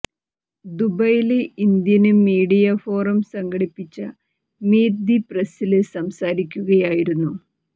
ദുബൈയില് Indian media forum സംഘടിപ്പിച്ച meet the പ്രസില് സംസാരിക്കുകയായിരുന്നു